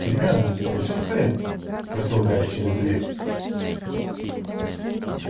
гермиона с тобой всё в порядке спросил гарри через дверь